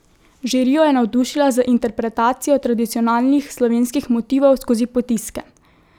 Žirijo je navdušila z interpetacijo tradicionalnih slovenskih motivov skozi potiske.